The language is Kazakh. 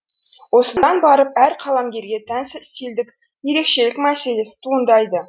осыдан барып әр қаламгерге тән стильдік ерекшелік мәселесі туындайды